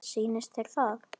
Sýnist þér það?